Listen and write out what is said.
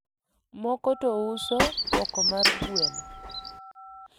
moko to uso poko mar gweno